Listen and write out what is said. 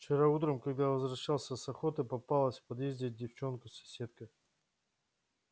вчера утром когда возвращался с охоты попалась в подъезде девчонка-соседка